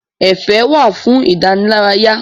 Ẹ̀fẹ̀ wà fún ìdánilárayá.